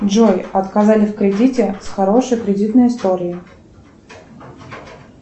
джой отказали в кредите с хорошей кредитной историей